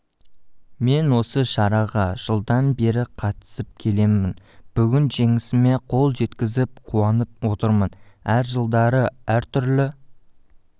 мен осы шараға жылдан бері қатысып келемін бүгін жеңісіме қол жеткізіп қуанып отырмын әр жылдары әртүрлі